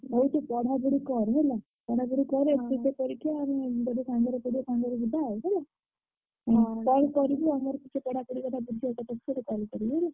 ହଉ ତୁ ପଢାପଢି କର ହେଲା ଆମେ ବୋଧେ ସାଙ୍ଗେରେ ପଡିଆ ସାଙ୍ଗେରେ ଯିବା ଆଉ ହେଲା ହଉ call କରିବି ଆଉ ଘରେ ଟିକେ ପଢାପଢି କଥା call କରିବି ହେଲା।